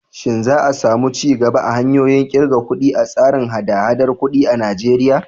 Shin za a samu ci gaba a hanyoyin ƙirga kuɗi a tsarin haɗa-haɗar kuɗi a Najeriya?